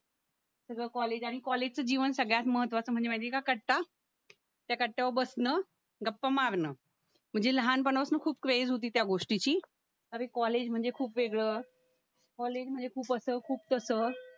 तुझा कॉलेज आणि कॉलेजचे जीवन सगळ्यात महत्त्वाचं म्हणजे माहिती आहे का कट्टा त्या कट्ट्यावर बसणं गप्पा मारणं म्हणजे लहानपणापासन खूप क्रेझ होती त्या गोष्टीची अरे कॉलेज म्हणजे खूप वेगळ कॉलेज म्हणजे खूप असं खूप तसं